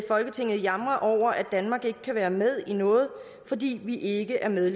danmark ikke kan være med i noget fordi vi ikke er med i